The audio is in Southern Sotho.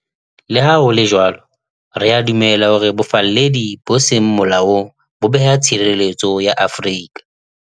Le ha ho le jwalo, re a dumela hore bofalledi bo seng molaong bo beha tshireletso ya Afrika